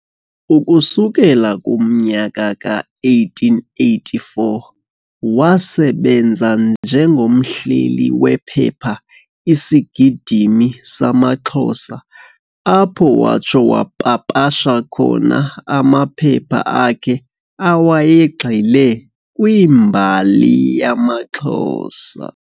Ukusukela kumnyaka ka-1884 wasebenza njengomhleli wephepha 'Isigidimi samaXhosa', apho watsho wapapasha khona amaphepha akhe awayegxile kwimbali yamaXhosa.